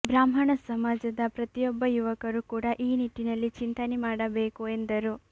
ಬ್ರಾಹ್ಮಣ ಸಮಾಜದ ಪ್ರತಿಯೊಬ್ಬ ಯುವಕರು ಕೂಡ ಈ ನಿಟ್ಟಿನಲ್ಲಿ ಚಿಂತನೆ ಮಾಡಬೇಕು ಎಂದರು